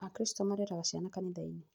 Akristo mareraga ciana kanithainĩ